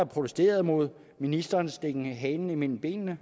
protesteret mod ministerens stikken halen mellem benene